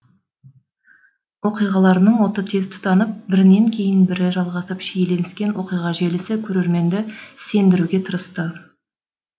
оқиғаларының оты тез тұтанып бірінен кейін бірі жалғасып шиленіскен оқиға желісі көрерменді сендіруге тырысты